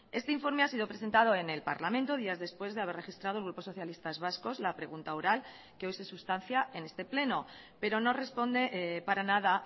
este informe ha sido presentado en el parlamento días después de haber registrado el grupo socialistas vascos la pregunta oral que hoy se sustancia en este pleno pero no responde para nada